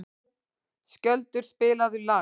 Skjöldur, spilaðu lag.